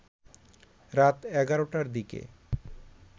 রাত ১১টার দিকে